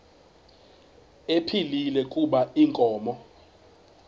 ephilile kuba inkomo